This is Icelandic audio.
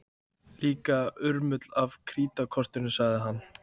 Líka urmull af krítarkortum sagði hann.